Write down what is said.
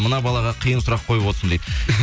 мына балаға қиын сұрақ қойып отырсың дейді